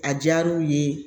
A diyara u ye